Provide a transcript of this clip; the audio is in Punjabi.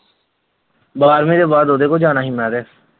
ਬਾਰਵੀਂ ਤੋਂ ਬਾਅਦ ਉਹਦੇ ਕੋਲ ਜਾਣਾ ਸੀ ਮੈਂ ਤੇ।